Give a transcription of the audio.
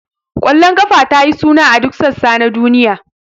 Ƙwallon kafa ta yi suna a duk sassa na duniya.